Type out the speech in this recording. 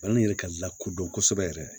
Balani yɛrɛ ka lakodɔn kosɛbɛ yɛrɛ